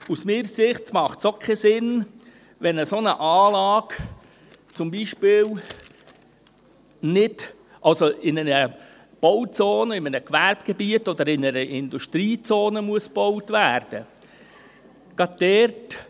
Aus meiner Sicht macht es auch keinen Sinn, wenn eine solche Anlage zum Beispiel in einer Bauzone, in einem Gewerbegebiet oder in einer Industriezone gebaut werden muss.